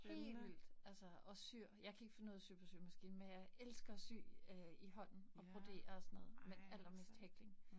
Helt vildt. Altså og syr. Jeg kan ikke finde ud af at sy på symaskine, men jeg elsker at sy øh i hånden og brodere og sådan noget. Men allermest hækling